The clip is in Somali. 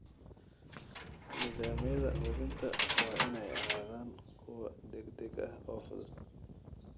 Nidaamyada hubinta waa inay ahaadaan kuwo degdeg ah oo fudud.